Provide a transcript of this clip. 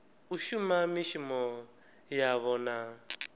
u shuma mishumo yavho na